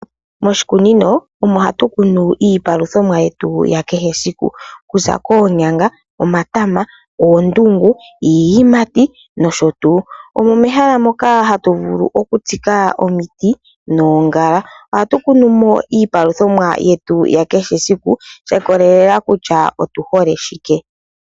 Moshikunino omo hatu kunu iipaluthamomwa yetu ya kehe siku kuza koonyanga, omatama, oondungu iiyimati nosho tuu. Omo mehala moka hatu vulu okutsika mo omiti noongala. Ohatu kunumo iipalutha ya kehe esiku shi ikolelela kutya otu hole shike.